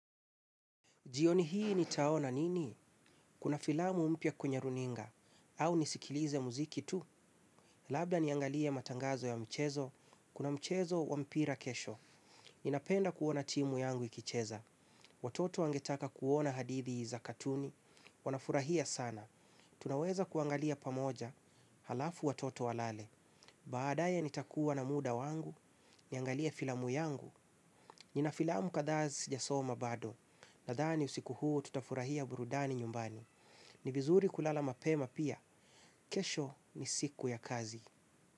Jioni hii nitaona nini? Kuna filamu mpya kwenye runinga? Au nisikilize muziki tu? Labda niangalie matangazo ya mchezo. Kuna mchezo wa mpira kesho. Ninapenda kuona timu yangu ikicheza. Watoto wangetaka kuona hadithi za katuni. Wanafurahia sana. Tunaweza kuangalia pamoja halafu watoto walale. Baadae nitakuwa na muda wangu. Niangalie filamu yangu. Nina filamu kadha sijasoma bado. Nadani usiku huu tutafurahia burudani nyumbani. Ni vizuri kulala mapema pia. Kesho ni siku ya kazi.